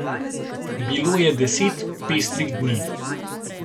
Bilo je deset pestrih dni.